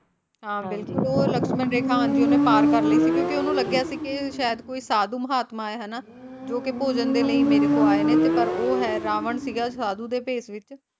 ਹਾਂ ਬਿਲਕੁਲ ਉਹ ਲਕਸ਼ਮਣ ਰੇਖਾ ਉਹਨੇ ਹਾਂਜੀ ਪਾਰ ਕਰ ਲਈ ਸੀ ਕਿਉਂਕਿ ਉਹਨੂੰ ਲੱਗਿਆ ਸੀ ਕੇ ਸ਼ਾਇਦ ਕੋਈ ਸਾਧੂ ਮਹਾਤਮਾ ਹੈ ਹਨਾਂ ਜੋ ਕਿ ਭੋਜਨ ਦੇ ਲਈ ਮੇਰੇ ਕੋਲ ਆਏ ਨੇ ਪਰ ਉਹ ਹੈ ਰਾਵਣ ਸੀਗਾ ਸਾਧੂ ਦੇ ਭੇਸ਼ ਵਿੱਚ